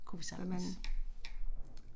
Kunne vi sagtens